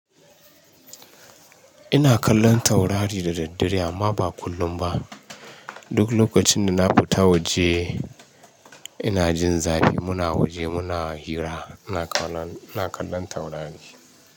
Ina kallon taurari da daddare amma ba kullum ba. Duk lokacin da na fita waje ina jin zafi muna waje muna hira ina na kallon taurari.